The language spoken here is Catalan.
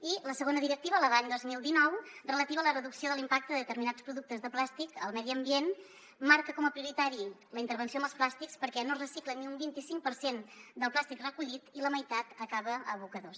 i la segona directiva la de l’any dos mil dinou relativa a la reducció de l’impacte de determinats productes de plàstic al medi ambient marca com a prioritària la intervenció amb els plàstics perquè no es recicla ni un vint i cinc per cent del plàstic recollit i la meitat acaba en abocadors